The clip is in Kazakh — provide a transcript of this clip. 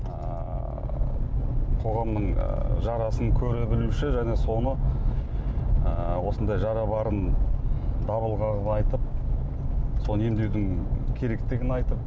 ыыы қоғамның ы жарасын көре білуші және соны ы осындай жара барын дабыл қағып айтып соны емдеудің керектігін айтып